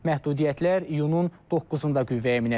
Məhdudiyyətlər iyunun doqquzunda qüvvəyə minəcək.